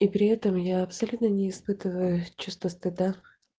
и при этом я абсолютно не испытываю чувство стыда